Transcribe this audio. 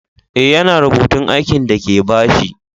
Eh, ya na rubutun aikin de ka ba shi.